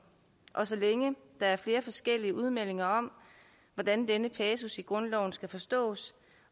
og så længe der er flere forskellige udmeldinger om hvordan denne passus i grundloven skal forstås